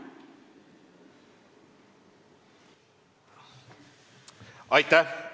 Aitäh!